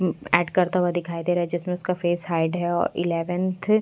add करता हुआ दिखाई दे रहा है जिसमें उसका फेस हाइड है और इलेवंथ --